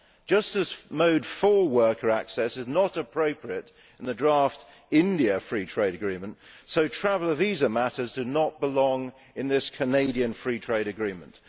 just as Mode 4' worker access is not appropriate in the draft EU India free trade agreement, so traveller visa matters do not belong in this Canadian free trade agreement.